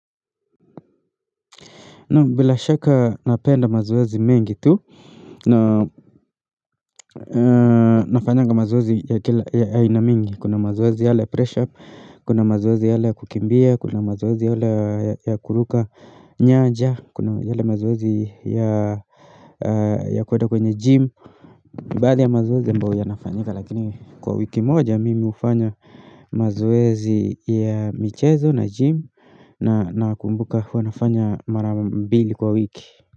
Naam bila shaka napenda mazoezi mengi tu na nafanyanga mazoezi ya ina mingi Kuna mazoezi yale ya press up, kuna mazoezi yale ya kukimbia, kuna mazoezi yale ya kuruka nyanja Kuna yale ya mazoezi ya kuenda kwenye gym, mbaadhi ya mazoezi ambayo yanafanyika Lakini kwa wiki moja mimi hufanya mazoezi ya michezo na gym nakumbuka hua nafanya mara mbili kwa wiki.